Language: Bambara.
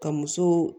Ka muso